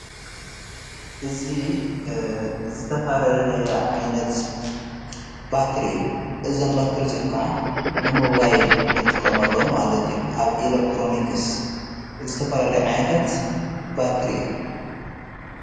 እዝ ዝተፋለለየ ዓይነት ባትር እዩ እዘሐ ባትር እዙኡም ከዓ ንሞዋይል ንጥቆመሎም ማለትዩም ኣብ ኤለክትሮንክስ ዝተፈላለየ ዓይንታት ባትር እዮም።